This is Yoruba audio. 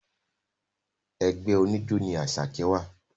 Ẹgbẹ́ oníjó ní Àṣàkẹ́ wà